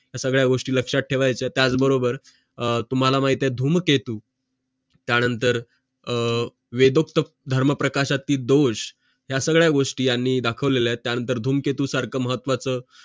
या सगळ्या गोष्टी लक्षात ठेवायच्या त्याचबरोबर तुम्हाला माहित आहे धूमकेतू त्यानंतर आह वेदोक्त धर्मप्रकाश जाती दोष त्या सगळ्या गोष्टी आणि दाखवले आहे त्यानंतर धूमकेतूसारखा महत्त्वाचं